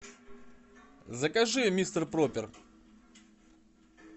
закажи мистер пропер